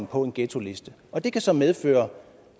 på en ghettoliste og det kan så medføre